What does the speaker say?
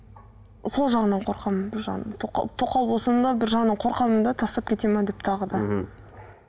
сол жағынан қорқамын бір жағынан тоқал тоқал болсам да бір жағынан қорқамын да тастап кетеді ме деп тағы да мхм